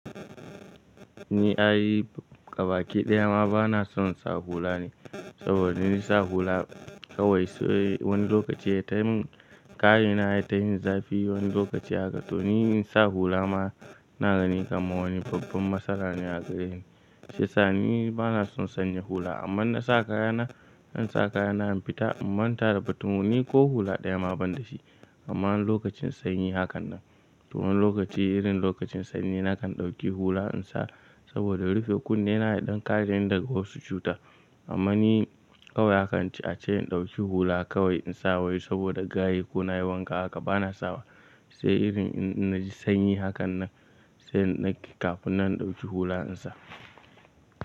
Ni ai fabaki ɗayama bana sonsa hula ne, saboda insa hula kawai sai wani lokaci ya taimin kayina ya tamin zafi wani lokaci haka toni sa hulama na gani kamar wani babban matsalane a gareni. Shiyasa ni bana son sanya hula amma nasa kayana, in sa kayana in fita in manta da batun mu ni ko hula ɗaya ma banda shi. Amma lokacin sanyi hakannan, to wani lokaci irin lokacin sanyi nakan ɗauki hula insa saboda rufe kunne na yaɗan kareni daga wasu cuta. Amma ni kawai hakan ci a ce in ɗauki hula kawai insa wai saboda gayu ko nayi wanka haka bana sawa. Sai irin in naji sanyi hakan nan sai na kai kafin na ɗauki hula insa.